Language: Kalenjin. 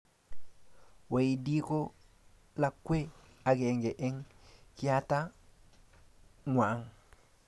Waidi ko lakwee akenge eng kiata ng'wang.